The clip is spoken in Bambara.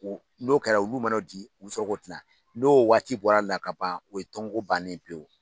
n'o kɛra olu man'o di, u bɛ sɔrɔ k'o tilan. N'o waati bɔra la ka ban o ye tɔn ko bannen ye pewu.